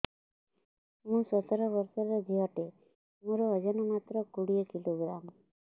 ମୁଁ ସତର ବର୍ଷ ଝିଅ ଟେ ମୋର ଓଜନ ମାତ୍ର କୋଡ଼ିଏ କିଲୋଗ୍ରାମ